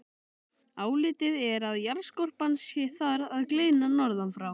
Álitið er að jarðskorpan sé þar að gliðna norðan frá.